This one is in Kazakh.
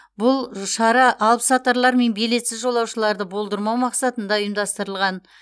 бұл шара алыпсатарлар мен билетсіз жолаушыларды болдырмау мақсатында ұйымдастырылған